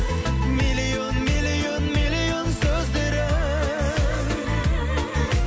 миллион миллион миллион сөздері